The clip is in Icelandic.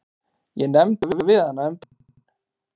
Ég nefndi það við hana um daginn.